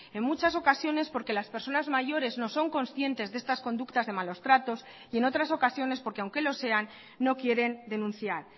en muchas ocasiones porque las personas mayores no son conscientes de estas conductas de malos tratos y en otras ocasiones porque aunque lo sean no quieren denunciar